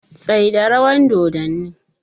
Tsaida rawan doddani!